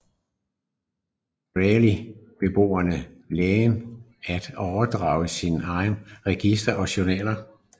Greely beordrede lægen at overdrage alle sine registre og journaler